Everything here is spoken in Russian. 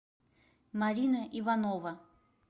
марина иванова